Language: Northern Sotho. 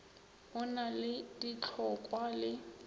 o na le ditlhokwa le